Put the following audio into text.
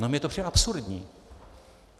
No, mně to přijde absurdní.